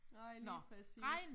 Nej lige præcis